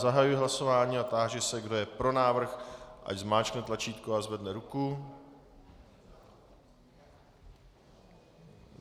Zahajuji hlasování a táži se, kdo je pro návrh, ať zmáčkne tlačítko a zvedne ruku.